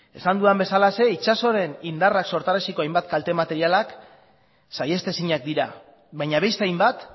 esan dudan bezalaxe itsasoaren indarrak sortarazitako hainbat kalte materialak saihestezinak dira baina beste hainbat